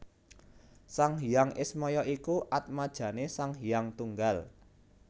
Sang Hyang Ismaya iku atmajane Sang Hyang Tunggal